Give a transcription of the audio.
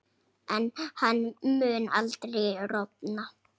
En hann mun aldrei rofna.